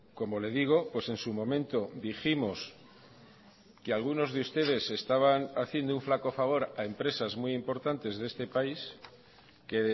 como le digo pues en su momento dijimos que algunos de ustedes estaban haciendo un flaco favor a empresas muy importantes de este país que